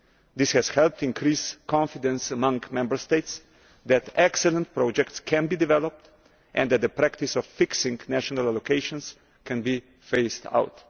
This has helped increase confidence among Member States that excellent projects can be developed and that the practice of fixing national allocations can be phased out.